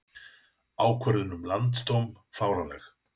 Ákvörðun um landsdóm fáránleg